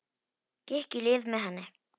Gekk í lið með henni.